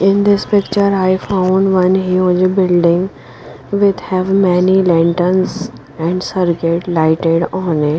in this picture i found one huge building with have many lanterns and circuit lighted on it.